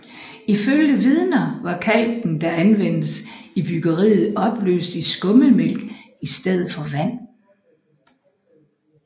Ifølge vidner var kalken der anvendtes I byggeriet opløst i skummetmælk i stedet for vand